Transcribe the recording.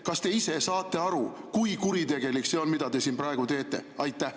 Kas te ise saate aru, kui kuritegelik see on, mida te siin praegu teete?